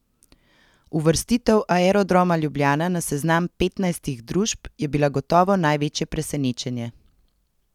Uvrstitev Aerodroma Ljubljana na seznam petnajstih družb je bila gotovo največje presenečenje.